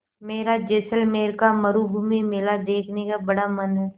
मेरा जैसलमेर का मरूभूमि मेला देखने का बड़ा मन है